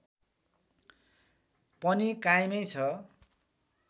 पनि कायमै छ